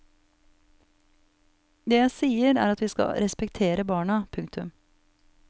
Det jeg sier er at vi skal respektere barna. punktum